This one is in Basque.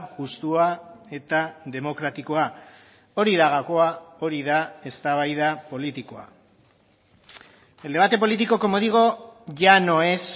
justua eta demokratikoa hori da gakoa hori da eztabaida politikoa el debate político como digo ya no es